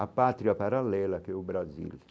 A pátria paralela que é o Brasil.